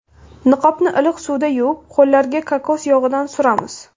Niqobni iliq suvda yuvib, qo‘llarga kokos yog‘idan suramiz.